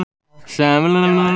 Er fundurinn búinn?